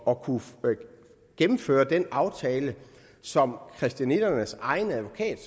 at kunne gennemføre den aftale som christianitternes egen advokat